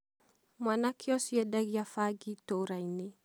mwanake ũcio endagia bangi itũũra-inĩ.